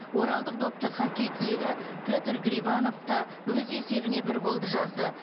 оралдық допты хоккей түлегі петр грибанов та өз есебіне бір голды жазды